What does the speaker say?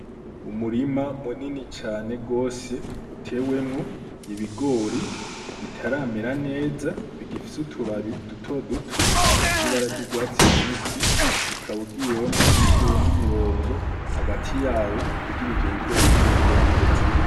Umurima munini cane gose utewemwo ibigori bitaramera neza bigifise utubabi duto duto dufise ibara ry'urwatsi rubisi, ukaba ugiyemo uciyemwo imirongo hagati yawo kugira ivyo bigori bizokure neza.